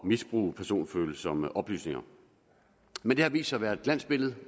misbruge personfølsomme oplysninger men det har vist sig at være et glansbillede